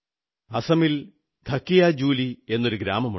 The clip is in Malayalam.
അസമിൽ ധകിയാജുലി എന്നൊരു ചെറിയ ഗ്രാമമുണ്ട്